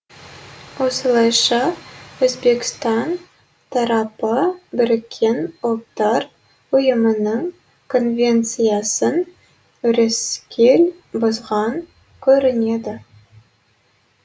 осылайша өзбекстан тарапы біріккен ұлттар ұйымының конвенциясын өрескел бұзған көрінеді